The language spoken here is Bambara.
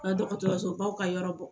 Ka dɔgɔtɔrɔso baw ka yɔrɔ bɔ